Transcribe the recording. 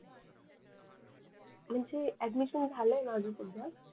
म्हणजे ऍडमिशन झाल आहे माझ सध्या